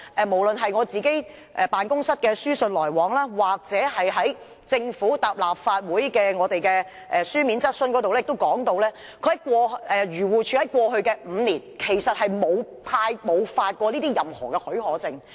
無論是我辦公室的書信來往，以至政府答覆立法會的書面質詢時亦提到，漁護署在過去5年沒有發出任何許可證。